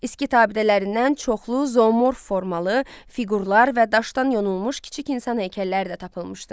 Skit abidələrindən çoxlu zoomorf formalı fiqurlar və daşdan yonulmuş kiçik insan heykəlləri də tapılmışdı.